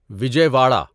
Vijay Wada